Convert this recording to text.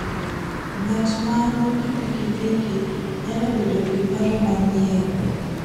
Ng'at ma nigi pikipiki nyalo bedo gi paro manyien.